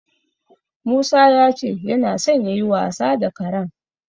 Musa ya ce yana so yayi wasa da karen.